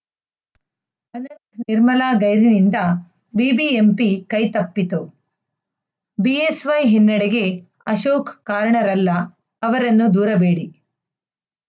ನಿರ್ಮಲಾ ಗೈರಿನಿಂದ ಬಿಬಿಎಂಪಿ ಕೈತಪ್ಪಿತು ಬಿಎಸ್‌ವೈ ಹಿನ್ನಡೆಗೆ ಅಶೋಕ್‌ ಕಾರಣರಲ್ಲ ಅವರನ್ನು ದೂರಬೇಡಿ